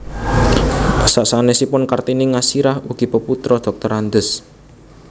Sasanèsipun Kartini Ngasirah ugi peputra Drs